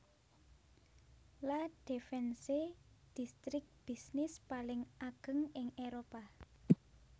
La Défense distrik bisnis paling ageng ing Éropah